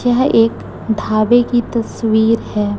यह एक ढाबे की तस्वीर है।